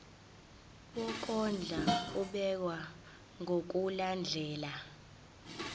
wokondla ubekwa ngokulandlela